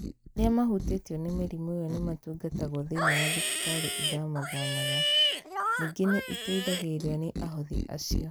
Arĩa mahutĩtio nĩ mĩrimũ ĩyo nĩ matungatagwo thĩinĩ wa thibitari ĩthama thamaga . Ningĩ nĩ ĩteithagĩrĩrio nĩ ahothi acio.